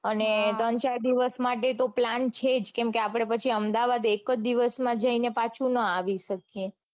અને ત્રણ ચાર દિવસ માટે તો plan છે જ કેમ કે આપડે પછી અમદાવાદ એક જ દિવસમાં જઈને પાછું નો આવી શકીયે